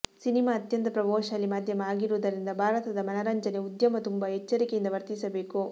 cinema ಅತ್ಯಂತ ಪ್ರಭಾವಶಾಲಿ ಮಾಧ್ಯಮ ಆಗಿರುವುದರಿಂದ ಭಾರತದ ಮನರಂಜನೆ ಉದ್ಯಮ ತುಂಬಾ ಎಚ್ಚರಿಕೆಯಿಂದ ವರ್ತಿಸಬೇಕು